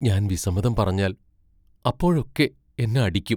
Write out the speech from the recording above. ഞാൻ വിസമ്മതം പറഞ്ഞാൽ അപ്പോഴൊക്കെ എന്നെ അടിക്കും.